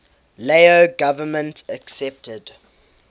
lao government accepted